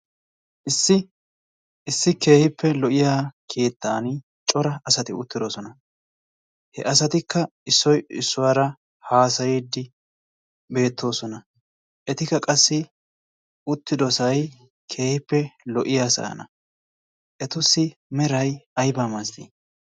Issi issi keehippe lo''iya keettan cora asati uttidoosona. He asatikka issoy issuwaara haassaydde beettoosona. Etikka qassi uttidoosay keehippe lo''iyasaana. Etussi meray ayba masatii?